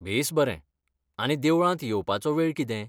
बेस बरें! आनी देवळांत येवपाचो वेळ कितें?